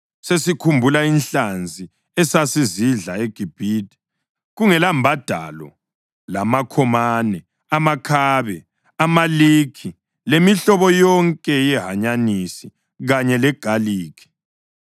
Sesikhumbula inhlanzi esasizidla eGibhithe kungelambadalo lamakhomane, amakhabe, amalikhi lemihlobo yonke yehanyanisi kanye legalikhi.